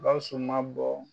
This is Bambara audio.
Gawusu ma bɔ